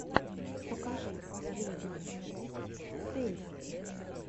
покажи последнюю часть тэйсти